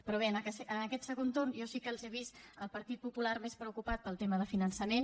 però bé en aquest segon torn jo sí que l’he vist al partit popular més preocupat pel tema de finançament